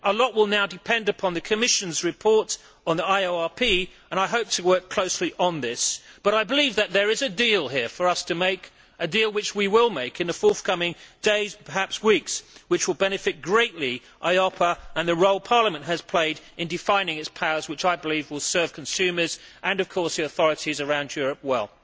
A lot will now depend upon the Commission's report on the IORP, and I hope to work closely on this, but I believe that there is a deal here for us to make, a deal which we will make in the forthcoming days perhaps weeks which will benefit greatly EIOPA and the role Parliament has played in defining its powers, which I believe will serve consumers and, of course, the authorities around Europe, well.